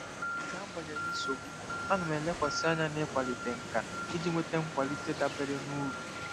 N'agbanyeghị nsogbu, ana m elekwasị anya n'ịkwalite nkà iji nweta nkwalite dabere na uru.